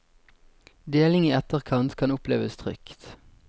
Deling i etterkant kan oppleves trygt.